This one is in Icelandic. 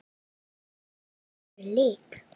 Mamma var engri lík.